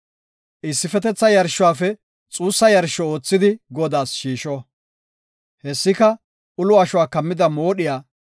Issifetetha yarshuwafe xuussa yarsho oothidi Godaas shiisho; hessika ulo ashuwa kammida moodhiya,